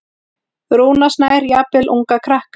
Rúnar Snær: Jafnvel unga krakka?